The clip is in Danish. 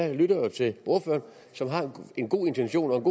jeg lytter jo til ordføreren som har en god intention og